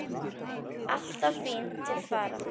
Alltaf fín til fara.